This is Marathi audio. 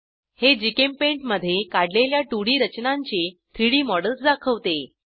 हे जीचेम्पेंट मधे काढलेल्या 2डी रचनांची 3Dमॉडेल्स दाखवते